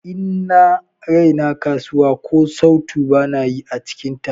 In na raina kasuwa, ko sautu bana yi ã cikin ta.